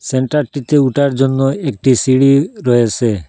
সেন্টারটিতে ওঠার জন্য একটি সিঁড়ি রয়েসে।